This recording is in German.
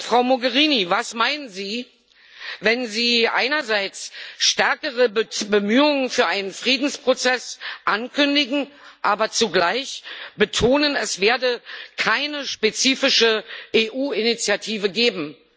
Frau Mogherini, was meinen Sie, wenn Sie einerseits stärkere Bemühungen für einen Friedensprozess ankündigen, aber zugleich betonen, es werde keine spezifische EU Initiative geben?